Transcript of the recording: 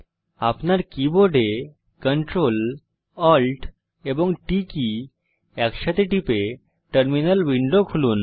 আপনার কীবোর্ডে Ctrl Alt এবং T কী একসাথে টিপে টার্মিনাল উইন্ডো খুলুন